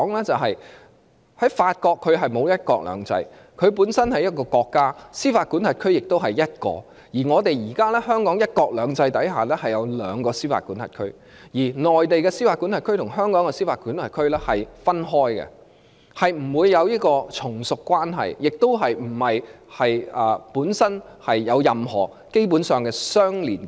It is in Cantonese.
就是法國沒有"一國兩制"，她本身是一個國家，司法管轄區亦只有一個；而香港在"一國兩制"下，是獨立的司法管轄區；而內地的司法管轄區與香港的司法管轄區是分開的，兩個司法管轄區不會有從屬關係，亦沒有任何根本上的相連結。